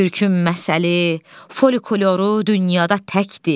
Türkün məsəli, folkloru dünyada təkdir.